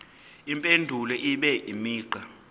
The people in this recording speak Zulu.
impendulo ibe imigqa